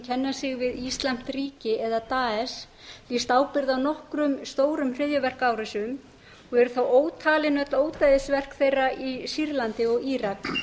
kenna sig við íslamskt ríki eða daesh lýst ábyrgð á nokkrum stórum hryðjuverkaárásum og eru þá ótalin öll ódæðisverk þeirra í sýrlandi og írak